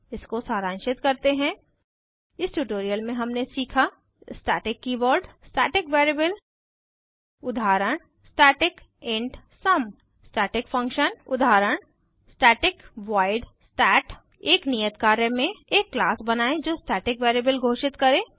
इसको सारांशित करते हैं इस ट्यूटोरियल में हमने सीखा स्टैटिक कीवर्ड स्टैटिक वेरिएबल उदाहरण static int sum static function उदाहरण स्टैटिक वॉइड stat एक नियत कार्य में एक क्लास बनायें जो स्टैटिक वेरिएबल घोषित करे